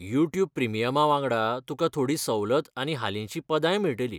YouTube प्रिमियमा वांगडा तुकां थोडी सवलत आनी हालींची पदाय मेळटलीं.